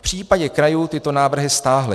V případě krajů tyto návrhy stáhly.